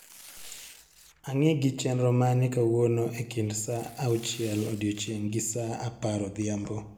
angi gi chenro mane kawuono e kind saa uachiel odiechieng gi saa apar odhiambo